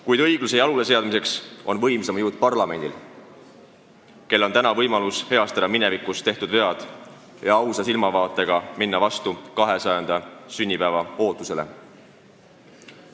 Kuid õigluse jaluleseadmiseks on suurim jõud parlamendil, kellel on täna võimalus heastada minevikus tehtud vead ja minna ausa silmavaatega vastu meie riigi 200. sünnipäeva ootusele.